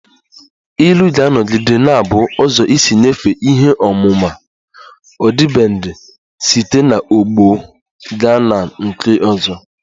Ilu ga-anọgide na-abụ ụzọ isi nyefee ihe ọmụma ọdịbendị site n'ọgbọ gaa na nke ọzọ